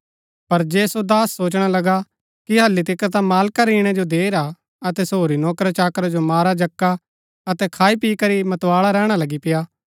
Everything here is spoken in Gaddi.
पर जे सो दास सोचणा लगा कि हल्ली तिकर ता मालका रै ईणै जो देर हा अतै सो होरी नौकराचाकरा जो मारा जक्का अतै खाईपी करी मतबाळा रैहणा लगी पेआ